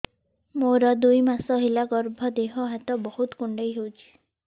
ମୋର ଦୁଇ ମାସ ହେଲା ଗର୍ଭ ଦେହ ହାତ ବହୁତ କୁଣ୍ଡାଇ ହଉଚି